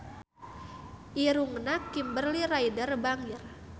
Irungna Kimberly Ryder bangir